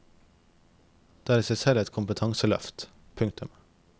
Det er i seg selv et kompetanseløft. punktum